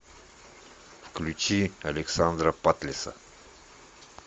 включи александра патлиса